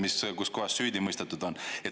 – rohkem, kus kohas süüdi mõistetud on.